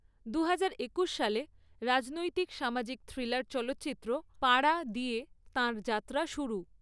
দু হাজার একুশ সালে রাজনৈতিক সামাজিক থ্রিলার চলচ্চিত্র ‘পাড়া’ দিয়ে তাঁর যাত্রা শুরু।